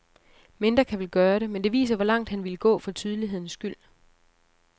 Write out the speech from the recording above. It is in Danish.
Mindre kan vel gøre det, men det viser hvor langt han ville gå for tydelighedens skyld.